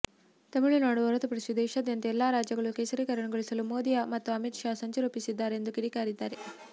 ತಮಿಳುನಾಡು ಹೊರತುಪಡಿಸಿ ದೇಶಾದ್ಯಂತ ಎಲ್ಲಾ ರಾಜ್ಯಗಳನ್ನು ಕೇಸರಿಕರಣಗೊಳಿಸಲು ಮೋದಿ ಮತ್ತು ಅಮಿತ್ ಶಾ ಸಂಚು ರೂಪಿಸಿದ್ದಾರೆ ಎಂದು ಕಿಡಿಕಾರಿದ್ದಾರೆ